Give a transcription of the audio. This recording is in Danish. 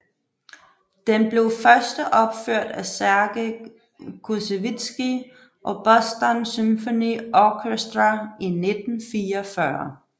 Den blev førsteopført af Serge Koussevitsky og Boston Symphony Orchestra i 1944